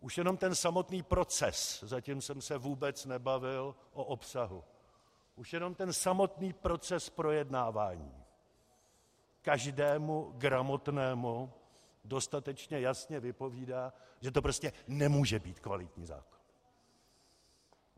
Už jenom ten samotný proces, zatím jsem se vůbec nebavil o obsahu, už jenom ten samotný proces projednávání každému gramotnému dostatečně jasně vypovídá, že to prostě nemůže být kvalitní zákon.